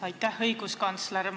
Aitäh, õiguskantsler!